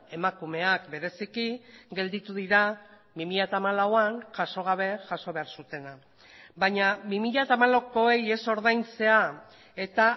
emakumeak bereziki gelditu dira bi mila hamalauan jaso gabe jaso behar zutena baina bi mila hamalaukoei ez ordaintzea eta